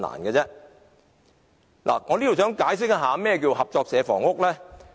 我想在此解釋何謂合作社房屋。